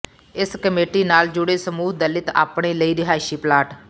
ਇਸ ਕਮੇਟੀ ਨਾਲ ਜੁੜੇ ਸਮੂਹ ਦਲਿਤ ਆਪਣੇ ਲਈ ਰਿਹਾਇਸ਼ੀ ਪਲਾਟ